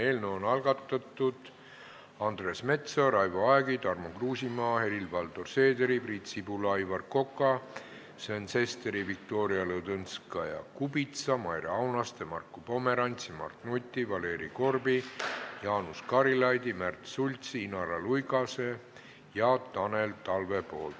Eelnõu on algatanud Andres Metsoja, Raivo Aeg, Tarmo Kruusimäe, Helir-Valdor Seeder, Priit Sibul, Aivar Kokk, Sven Sester, Viktoria Ladõnskaja-Kubits, Maire Aunaste, Marko Pomerants, Mart Nutt, Valeri Korb, Jaanus Karilaid, Märt Sults, Inara Luigas ja Tanel Talve.